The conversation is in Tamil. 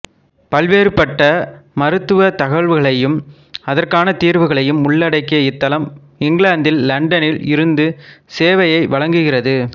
பல்வேறுபட்ட மருத்துவத் தகவல்களையும் அதற்கான தீர்வுகளையும் உள்ளடக்கிய இத்தளம் இங்கிலாந்து இலண்டனில் இருந்து சேவையை வழங்குகிறது